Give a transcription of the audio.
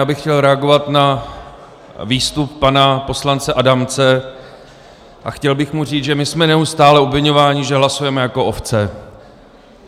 Já bych chtěl reagovat na výstup pana poslance Adamce a chtěl bych mu říct, že my jsme neustále obviňováni, že hlasujeme jako ovce.